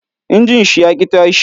Injin shi ya ki tashi